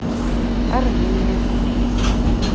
армения